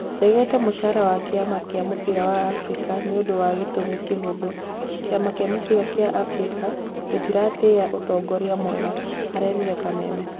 "Ndegete mũcara wa kĩama gĩa mũbira wa Afrika nĩũndũ wa gĩtũmi kĩhũthũ, kĩama gĩa mũbira gĩa Afrika gĩtiratĩĩya ũtongoria mwega" arerire Kameme.